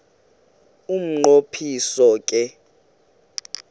umnqo phiso ke